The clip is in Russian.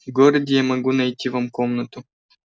в городе я могу найти вам комнату